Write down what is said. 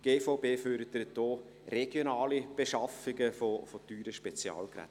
Die GVB fördert auch regionale Beschaffungen von teuren Spezialgeräten.